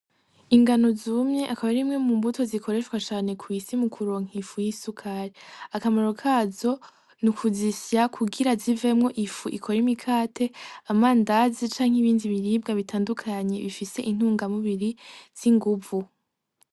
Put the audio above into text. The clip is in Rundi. Ingano zumye akab arimwe mu mbuto zikoreshwa cane kw’isi mukuronka ifu y’isukari. Akamaro kazo ni kuzisya kugira ngo zikore ifu y’imikate , amandazi canke ibindi biribwa bifise intungamubiri z’inguvu.